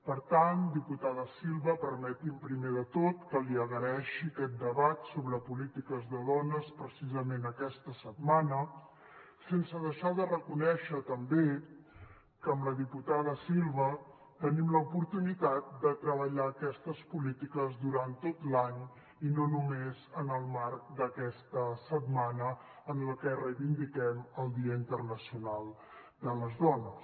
per tant diputada silva permeti’m primer de tot que li agraeixi aquest debat sobre polítiques de dones precisament aquesta setmana sense deixar de reconèixer també que amb la diputada silva tenim l’oportunitat de treballar aquestes polítiques durant tot l’any i no només en el marc d’aquesta setmana en la que reivindiquem el dia internacional de les dones